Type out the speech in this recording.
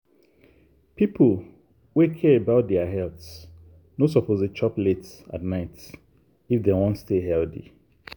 people wey care about their health no suppose dey chop late at night if dem wan stay healthy.